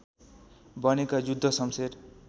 बनेका जुद्ध शम्शेर